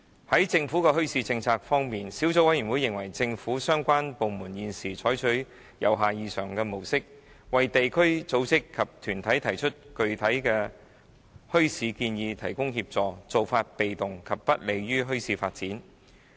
在政府的墟市政策方面，小組委員會認為政府相關部門現時採取由下而上的模式，為地區組織及團體提出具體的墟市建議提供協助，做法被動，不利於墟市發展。